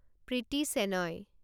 Priti Shenoy